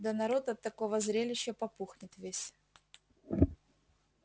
да народ от такого зрелища попухнет весь